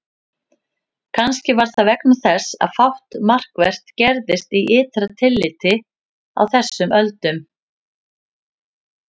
Kannski var það vegna þess að fátt markvert gerðist í ytra tilliti á þessum öldum.